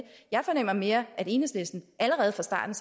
jeg fornemmer mere at enhedslisten allerede fra starten